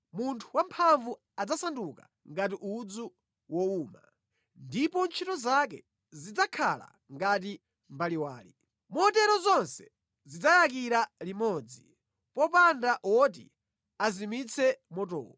Munthu wamphamvu adzasanduka ngati udzu wowuma, ndipo ntchito zake zidzakhala ngati mbaliwali; motero zonse zidzayakira limodzi, popanda woti azimitse motowo.”